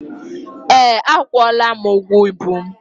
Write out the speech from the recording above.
Ee, akwụọla m ụgwọ ibu mụ.